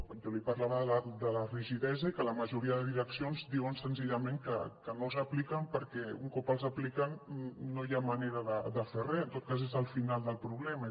jo li parlava de la rigidesa i que la majoria de direccions diuen senzillament que no els apliquen perquè un cop els apliquen no hi ha manera de fer re en tot cas és el final del problema